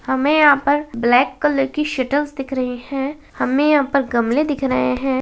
हमें यहाँ पर ब्लैक कलर की शटल्स दिख रही हैं हमें यहाँ पर गमले दिख रहे हैं।